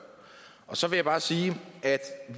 så vil jeg bare sige at